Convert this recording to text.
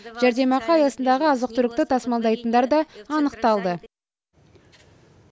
жәрдемақы аясындағы азық түлікті тасымалдайтындар да анықталды